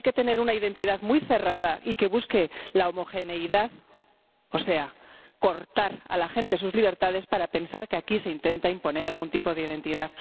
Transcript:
Hay que tener una identidad muy cerrada y que busque la homogeneidad —o sea, cortar a la gente sus libertades— para pensar que aquí se intenta imponer algún tipo de identidad.